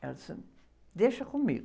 Ela disse, deixa comigo.